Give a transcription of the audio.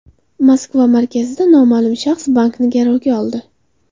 Moskva markazida noma’lum shaxs bankni garovga oldi.